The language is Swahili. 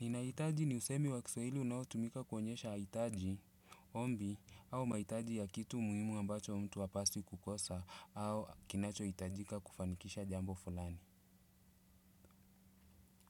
Ninahitaji ni usemi wa kiswahili unaotumika kuonyesha hitaji, ombi, au mahitaji ya kitu muhimu ambacho mtu hapaswi kukosa au kinachohitajika kufanikisha jambo fulani.